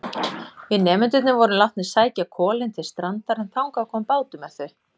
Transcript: Við nemendurnir vorum látnir sækja kolin til strandar en þangað kom bátur með þau.